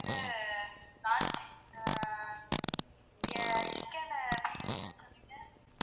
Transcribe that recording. சொன்னீங்க.